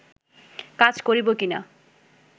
কাজ করব কিনা